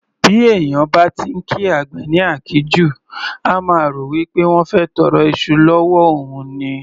Bí èèyàn bá ti ńkí àgbẹ̀ ní àkíjù, á máa rò wípé wọ́n fẹ́ tọrọ iṣu l'ọ́wọ́ òun ni.